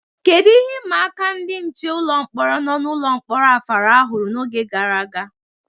Kedu ihe ịma aka ndị nche ụlọ mkpọrọ nọ n'ụlọ mkpọrọ Afara ihuru n'oge gara aga?